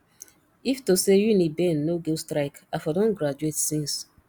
if to say uniben no go strike i for don graduate since